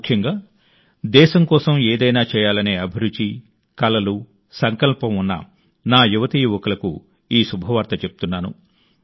ముఖ్యంగా దేశం కోసం ఏదైనా చేయాలనే అభిరుచి కలలు సంకల్పం ఉన్న నా యువతీ యువకులకు ఈ శుభవార్త చెప్తున్నాను